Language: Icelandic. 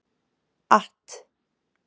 att